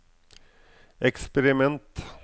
eksperiment